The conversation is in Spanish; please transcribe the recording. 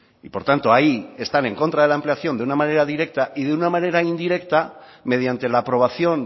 y por tanto ahí están en contra de la ampliación de una manera directa y de una manera indirecta mediante la aprobación